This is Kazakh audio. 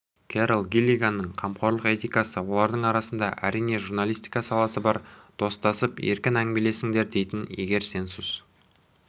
керол гиллиганның қамқорлық этикасы олардың арасында әрине журналистика саласы да бар достасып еркін әңгімелесіңдер дейтін егер сенсус